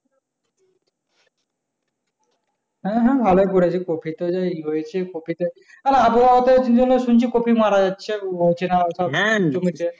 হ্যাঁ হ্যাঁ ভালোই করেছিস কপি তে যে ই হয়েছে কপিতে আর আবহাওয়া তো শুনছি কপি মারা যাচ্ছে অচেনা আলফা জমেছে